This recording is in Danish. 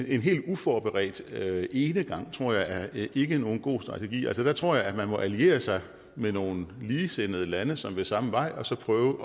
en helt uforberedt enegang ikke er nogen god strategi altså der tror jeg at man må alliere sig med nogle ligesindede lande som vil samme vej og så prøve